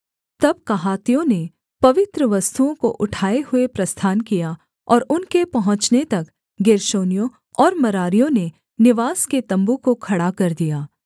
तब कहातियों ने पवित्र वस्तुओं को उठाए हुए प्रस्थान किया और उनके पहुँचने तक गेर्शोनियों और मरारियों ने निवास के तम्बू को खड़ा कर दिया